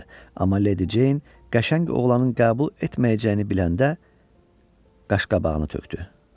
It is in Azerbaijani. Amma Leydi Jeyn qəşəng oğlanın qəbul etməyəcəyini biləndə, qaşqabağını tökdü.